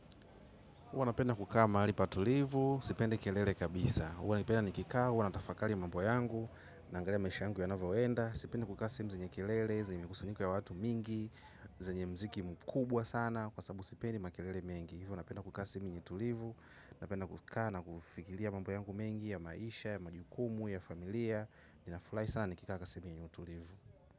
Huwa napenda kukaa mahali patulivu, sipendi kelele kabisa. Huwanapenda nikikaa, huwa na tafakara mambo yangu, naangalia maisha yangu yanavyoenda. Sijapenda kukaa sehemu zenye kelele zenye mikusanyiko ya watu mingi zenye muziki mkubwa sana kwa sabubu sipendi makelele mengi. Hivyo napenda kukaa sehemu yenye tulivu, napenda kukaa na kufikiria mambo yangu mengi ya maisha, ya majukumu, ya familia. Ninafurahi sana nikika kukaa sehemu yenye utulivu.